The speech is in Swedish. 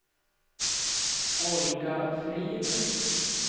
Olga Frid